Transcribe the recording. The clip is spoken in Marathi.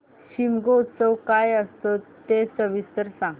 शिमगोत्सव काय असतो ते सविस्तर सांग